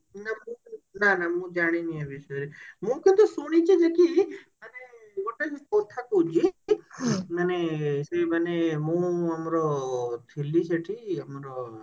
ନା ନା ନା ମୁଁ ଜାଣିନି ଏ ବିଷୟରେ ମୁ କେତେ ଶୁଣିଛି ଯେ କି ମାନେ ଗୋଟେ କଥା କହୁଛି ମାନେ ସେ ମାନେ ମୁଁ ଆମର ଥିଲି ସେଠି ଆମର ଇଏରେ